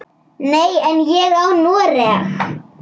Nei, en ég á Noreg.